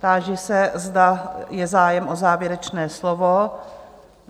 Táži se, zda je zájem o závěrečné slovo?